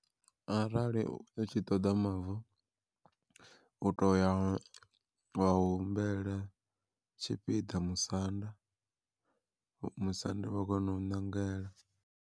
Arali u tshi ṱoḓa mavu u toya wa humbela tshipiḓa musanda, musanda vha kona u ṋangela.